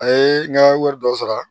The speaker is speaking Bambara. A ye n ka wari dɔ sara